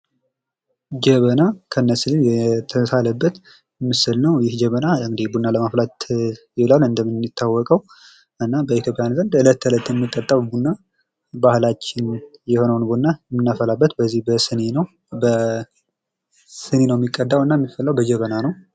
ጀበና ከነሲኒው የተሳለበት ምስል ነው ይህ ጀበና ቡና ለማፍላት ይውላል እንደሚታወቀው እና በኢትዮጵያውያን ዘንድ በእለት ተዕለት የሚጠጣውን ቡና ባህላች የሆነውን ቡና የምናፈላበት በዚህ በጀበና ነው እና የሚቀደው በሲኒ ነው።